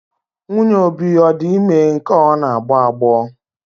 Nwunye Obi ọ di ime nke a ọ na-agbọ agbọ?